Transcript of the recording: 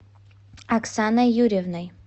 оксаной юрьевной